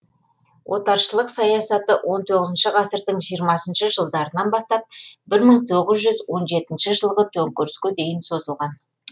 отаршылдық саясаты он тоғызыншы ғасырдың жиырмасыншы жылдарынан бастап бір мың тоғыз жүз он жетінші жылғы төнкеріске дейін созылған